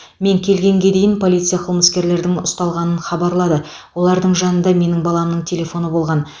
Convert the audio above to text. мен келгенге дейін полиция қылмыскерлердің ұсталғанын хабарлады олардың жанында менің баламның телефоны болған